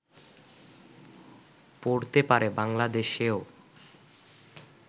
পড়তে পারে বাংলাদেশেও